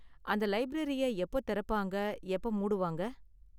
அந்த லைப்ரரிய எப்போ திறப்பாங்க, எப்போ மூடுவாங்க?